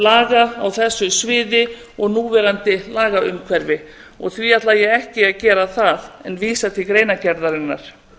laga á þessu sviði og núverandi lagaumhverfi því ætla ég ekki að gera það en vísa til greinargerðarinnar